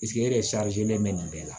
e de bɛ nin bɛɛ la